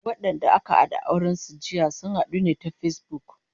Wadanda aka daura auren su jiya, sun hadu ne ta Facebook